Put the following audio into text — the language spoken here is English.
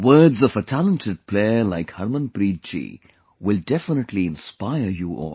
The words of a talented player like Harmanpreet ji will definitely inspire you all